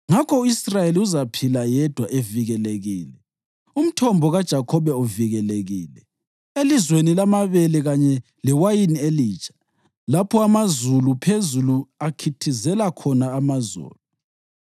Ngakho u-Israyeli uzaphila yedwa evikelekile, umthombo kaJakhobe uvikelekile, elizweni lamabele kanye lewayini elitsha, lapho amazulu phezulu akhithizela khona amazolo.